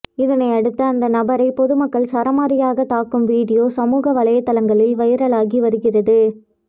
இதனையடுத்து அந்த நபரை பொதுமக்கள் சரமாரியாக தாக்கும் வீடியோ சமூக வலைதளங்களில் வைரலாகி வருகிறது